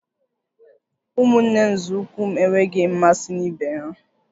Ụmụnne nzọụkwụ m enweghị mmasị na ibe ha